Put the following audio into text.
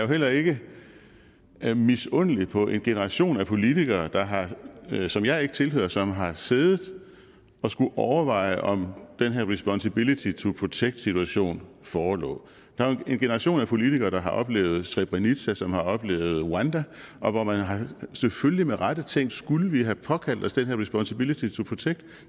heller ikke misundelig på en generation af politikere som jeg ikke tilhører som har siddet og skullet overveje om den her responsability to protect situation forelå der er jo en generation af politikere som har oplevet srebrenica som har oplevet rwanda og hvor man selvfølgelig med rette har tænkt skulle vi have påkaldt os den her responsability to protect